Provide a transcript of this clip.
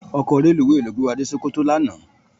Òkò rélúwé ló gbé wá dé Sokoto làná